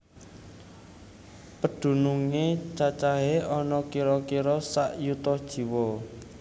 Pedunungé cacahé ana kira kira sak yuta jiwa